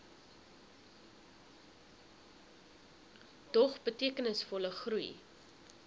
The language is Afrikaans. dog betekenisvolle groei